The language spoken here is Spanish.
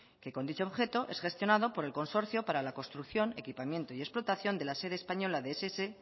que con dicho objeto es gestionado por el consorcio para la construcción equipamiento y explotación de la sede española de ess